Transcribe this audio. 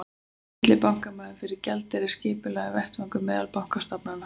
Millibankamarkaður fyrir gjaldeyri er skipulagður vettvangur meðal bankastofnana.